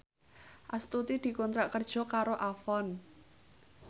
Astuti dikontrak kerja karo Avon